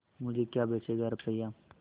मुझे क्या बेचेगा रुपय्या